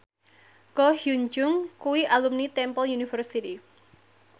Ko Hyun Jung kuwi alumni Temple University